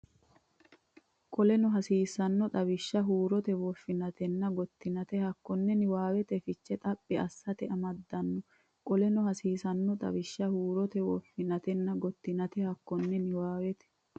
Qoleno hasiisanno xawishsha huurote woffinatenna gottinate hekkonna niwaawete fiche xaphi assite amaddanno Qoleno hasiisanno xawishsha huurote woffinatenna gottinate hekkonna niwaawete.